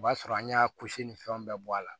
O b'a sɔrɔ an y'a kusi ni fɛnw bɛɛ bɔ a la